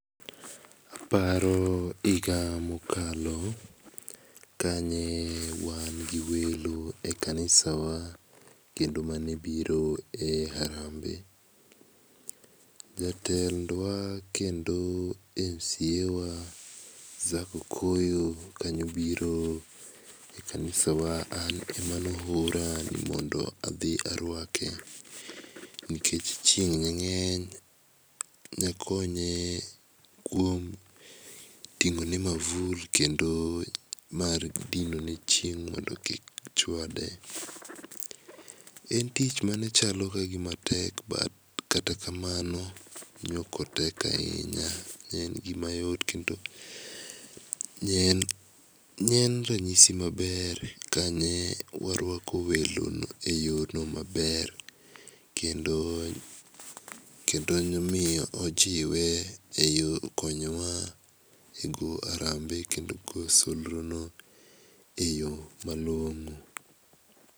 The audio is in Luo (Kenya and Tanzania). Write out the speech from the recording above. Aparo higa ma okalo ka ne wan gi welo e kanisa wa kendo mane biro e harambee. Jatend wa kendo mca wa Zac okoyo kane obiro e kanisa wa an ema ne oora ni mondo adhi arwake, nikech chieng ne ng'eny ne akonye kuom ting'o ne mavul kendo mar dino ne chieng mondo kik chwade. En tich mane chalo ka gi ma tek but kata kamano no ok otek ainya ne gi ma yot kendo ne ne en ranyisi ma ber ka ne warwkao welo no e yoo no maber kendo ne omiye e yo konyo wa e go harambe kendo kowo solro no e yo ma longo.